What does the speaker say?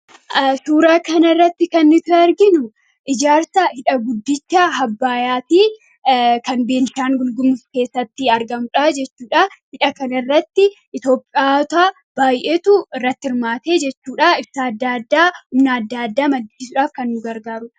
Suuraa kanarratti kan nuti arginu ijaarsa hidha guddicha Abbayyaati. Kan Beenishaangul Gumuz keessatti argamu jechuudha. Hidha kanarratti Itoophiyaanota baay'eetu irratti hirmaate jechuudha. Ibsaa adda addaa, humna adda addaa maddisiisuudhaaf kan nu gargaarudha.